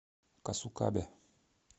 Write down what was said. касукабе